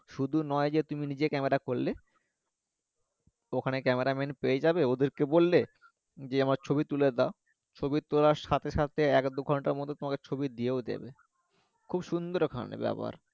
শুধু নয় যে তুমি নিজে cameraman করলে ওখানে cameraman ও পেয়ে যাবে ওদেরকে বললে যে আমার ছবি তুলে দেও ছবি তোলার সাথে সাথে এক দুই ঘন্টার মধ্যে তোমাকে ছবি দিয়েও দেবে খুব সুন্দর ওখানে ব্যবহার